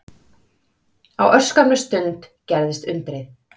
Á örskammri stund gerðist undrið.